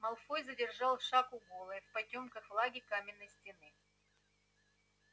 малфой задержал шаг у голой в потёках влаги каменной стены